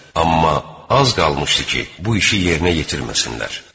Amma az qalmışdı ki, bu işi yerinə yetirməsinlər.